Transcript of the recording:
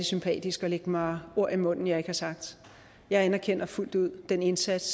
sympatisk at lægge mig ord i munden jeg ikke har sagt jeg anerkender fuldt ud den indsats